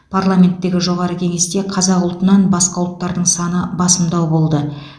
парламенттегі жоғары кеңесте қазақ ұлтынан басқа ұлттардың саны басымдау болды